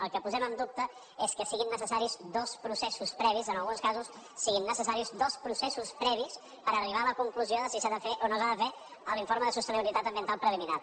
el que posem en dubte és que siguin necessaris dos processos previs en alguns casos siguin necessaris dos processos previs per arribar a la conclusió de si s’ha de fer o no s’ha de fer l’informe de sostenibilitat ambiental preliminar